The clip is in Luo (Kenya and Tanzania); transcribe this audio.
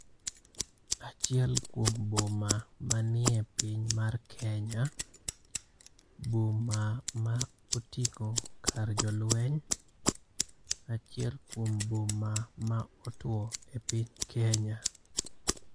Achiel kuom boma manie piny mar Kenya. Boma ma oting'o kar jolweny. Achiel kuom boma ma otwo e piny Kenya.